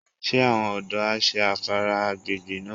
Ṣé àwọn ọ̀dọ́ á ṣé afárá agbègbè náà?